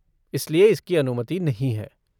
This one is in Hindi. इस लिए इसकी अनुमति नहीं है।